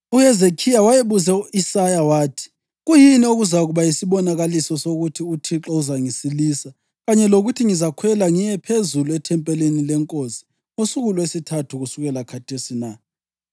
UHezekhiya wayebuze u-Isaya wathi, “Kuyini okuzakuba yisibonakaliso sokuthi uThixo uzangisilisa kanye lokuthi ngizakhwela ngiye phezulu ethempelini leNkosi ngosuku lwesithathu kusukela khathesi na?”